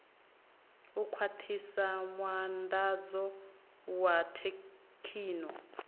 u khwathisa muandadzo wa thekhino